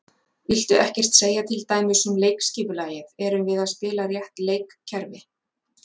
Viltu ekkert segja til dæmis um leikskipulagið, erum við að spila rétt leikkerfi?